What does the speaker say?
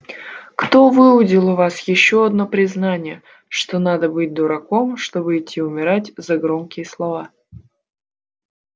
кто выудил у вас ещё одно признание что надо быть дураком чтобы идти умирать за громкие слова